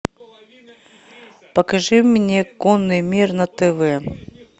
покажи мне конный мир на тв